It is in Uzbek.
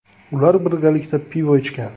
Ular birgalikda pivo ichgan.